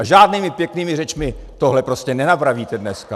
A žádnými pěknými řečmi tohle prostě nenapravíte dneska.